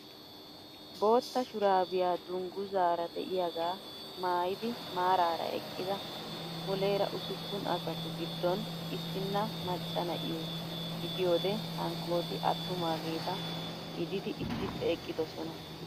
Bootta shuraabiyaa dunguzaara de'iyaagaa maayidi maarara eqqida muleera usuppun asatu giddon issina macca na'iyoo gidiyoode hankooti attumaageta gidid issippe eqqidosona.